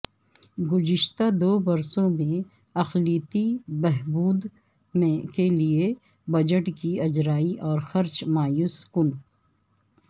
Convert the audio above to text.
گزشتہ دو برسوں میں اقلیتی بہبود کیلئے بجٹ کی اجرائی اور خرچ مایوس کن